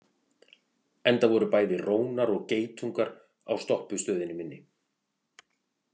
Enda voru bæði rónar og geitungar á stoppustöðinni minni.